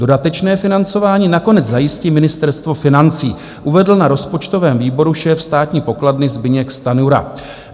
Dodatečné financování nakonec zajistí Ministerstvo financí, uvedl na rozpočtovém výboru šéf státní pokladny Zbyněk Stanjura.